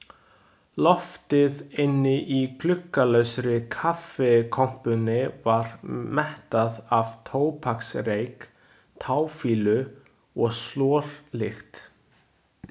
Loftið inni í gluggalausri kaffikompunni var mettað af tóbaksreyk, táfýlu og slorlykt.